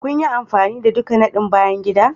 Kun yi amfani da ɗukan nadin bayan gida?